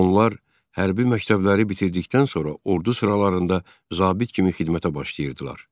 Onlar hərbi məktəbləri bitirdikdən sonra ordu sıralarında zabit kimi xidmətə başlayırdılar.